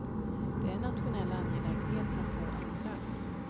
Det är en nationell angelägenhet som få andra.